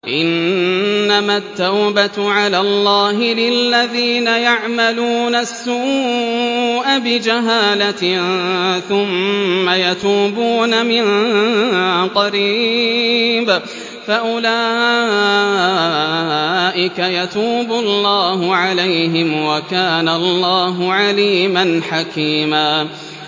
إِنَّمَا التَّوْبَةُ عَلَى اللَّهِ لِلَّذِينَ يَعْمَلُونَ السُّوءَ بِجَهَالَةٍ ثُمَّ يَتُوبُونَ مِن قَرِيبٍ فَأُولَٰئِكَ يَتُوبُ اللَّهُ عَلَيْهِمْ ۗ وَكَانَ اللَّهُ عَلِيمًا حَكِيمًا